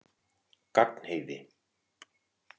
Gagnheiði